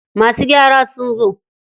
Masu gyara sun zo.